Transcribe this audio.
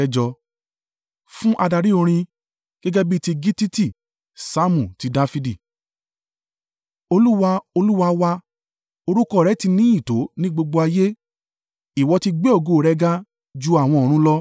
Fún adarí orin. Gẹ́gẹ́ bí ti gittiti. Saamu ti Dafidi. Olúwa, Olúwa wa, orúkọ rẹ̀ ti ní ìyìn tó ní gbogbo ayé! Ìwọ ti gbé ògo rẹ ga ju àwọn ọ̀run lọ.